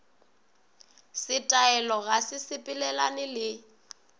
setaele ga se sepelelane le